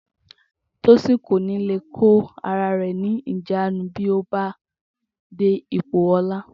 Tósìn kò ní lè kó ara rè̩ ní ìjánu bí ó bá dé ipò o̩lá